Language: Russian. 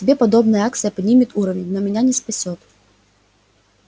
тебе подобная акция поднимет уровень но меня не спасёт